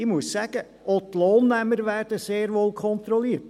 Auch die Lohnempfänger werden sehr wohl kontrolliert!